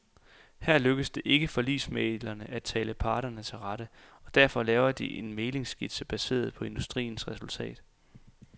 Her lykkes det ikke forligsmændene at tale parterne til rette, og derfor laver de en mæglingsskitse baseret på industriens resultat.